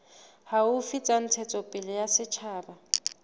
haufi tsa ntshetsopele ya setjhaba